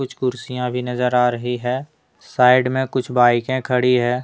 कुछ कुर्सियां भी नजर आ रही है। साइड में कुछ बाइके खड़ी है।